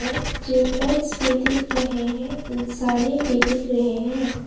Tube lights भी दिख रहे हैं इंसाने भी दिख रहे हैं।